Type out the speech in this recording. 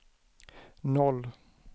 noll